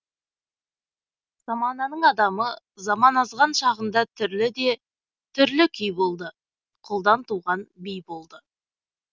замананың адамы заман азған шағында түрлі де түрлі күй болды құлдан туған би болды